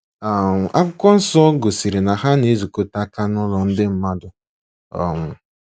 um Akwụkwọ Nsọ gosiri na ha na ezukọtaka nụlọ ndị mmadụ. um